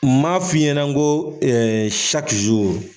N maa f'i ɲɛnɛ n ko